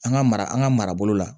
An ka mara an ka marabolo la